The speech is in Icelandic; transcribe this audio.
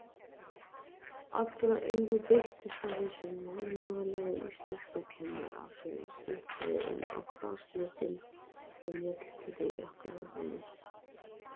Allra augu beindust að þessum annálaða íslenskukennara sem stikaði inn á grasflötina í mjallhvítum jakkafötum.